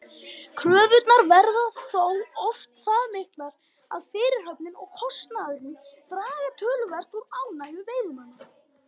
Kröfurnar verða þó oft það miklar að fyrirhöfnin og kostnaðurinn draga töluvert úr ánægju veiðimanna.